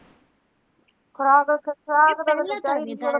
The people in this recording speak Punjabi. ਖੁਰਾਕ ਵਾਸਤੇ